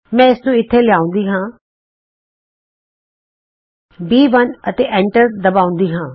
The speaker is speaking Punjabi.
ਮੈਂ ਇਸ ਨੂੰ ਇਥੇ ਲਿਆਉਂਦੀ ਹਾਂ ਬੀ1 ਅਤੇ ਐਂਟਰ ਦਬਾਉਂਦੀ ਹਾਂ